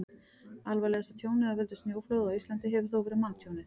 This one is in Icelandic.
alvarlegasta tjónið af völdum snjóflóða á íslandi hefur þó verið manntjónið